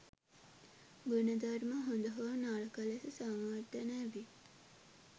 ගුණධර්ම හොඳ හෝ නරක ලෙස සංවර්ධනය වී